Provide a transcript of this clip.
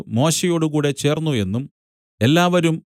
മോശെയോടുകൂടെ ചേർന്നു എന്നും എല്ലാവരും